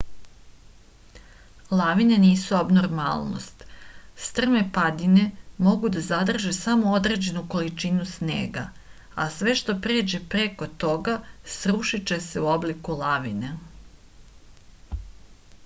lavine nisu abnormalnost strme padine mogu da zadrže samo određenu količinu snega a sve što pređe preko toga sručiće se u obliku lavine